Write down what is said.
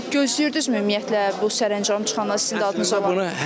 Gözləyirdinizmi ümumiyyətlə bu sərəncam çıxanda sizin adınız olsun?